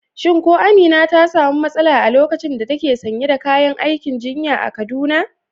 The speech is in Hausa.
Shin ko Amina ta samu matsala a lokacin da take sanye da kayan aikin jinya a Kaduna?